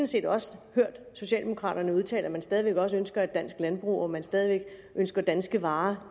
set også hørt socialdemokraterne udtale at man stadig væk ønsker et dansk landbrug og at man stadig væk ønsker danske varer